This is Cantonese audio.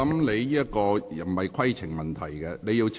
你提出的並非規程問題。